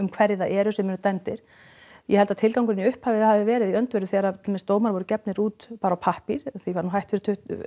hverjir það eru sem eru dæmdir ég held að tilgangurinn í upphafi hafi verið í öndverðu þegar til dæmis dómar voru gefnir út bara á pappír því var nú hætt eða